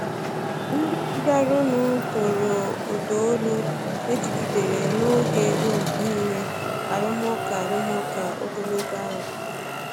Ndị bịaranụ toro uda olu e jigidere n’oge dum nile arụmụka arụmụka ogologo a.